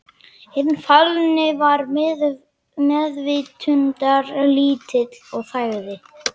Hinn fallni var meðvitundarlítill og þagði.